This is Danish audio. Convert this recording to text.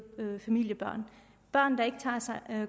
familier børn der ikke